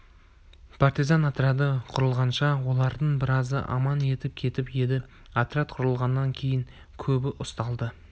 партизан отряды құрылғанша олардың біразы аман етіп кетіп еді отряд құрылғаннан кейін көбі ұсталды